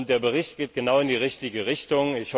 Der Bericht geht genau in die richtige Richtung.